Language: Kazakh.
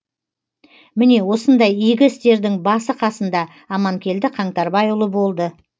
міне осындай игі істердің басы қасында аманкелді қаңтарбайұлы болды